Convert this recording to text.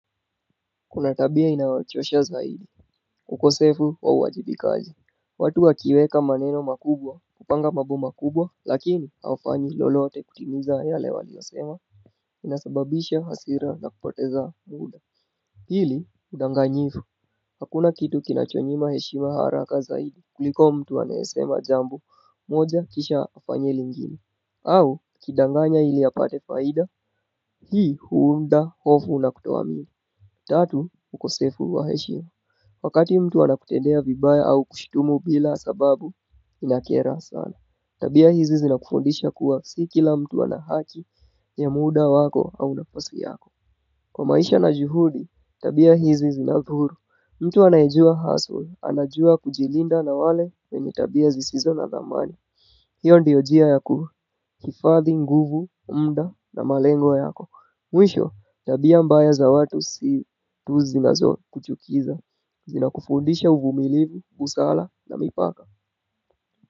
Kuna tabia inayochosha zaidi. Ukosefu wa uwajibikaji. Watu wakiweka maneno makubwa kupanga mambo makubwa lakini haufanyi lolote kutimiza yale waliyosema. Inasababisha hasira na kupoteza muda. Hili udanganyifu. Hakuna kitu kinachonyima heshima haraka zaidi kuliko mtu anayesema jambo moja kisha afanye lingine. Au akidanganya ili apate faida hii huunda hofu na kutoamini. Tatu, ukosefu wa heshima. Wakati mtu anakutendea vibaya au kushitumu bila sababu, inakera sana. Tabia hizi zinakufundisha kuwa si kila mtu ana haki ya muda wako au nafasi yako. Kwa maisha na juhudi, tabia hizi zinadhuru. Mtu anayejua hustle, anajua kujilinda na wale wenye tabia zisizo na dhamani. Hiyo ndiyo njia ya kuhifadhi nguvu, muda na malengo yako. Mwisho, tabia mbaya za watu si tu zinazokuchukiza, zinakufundisha uvumilivu, busara na mipaka.